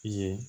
I ye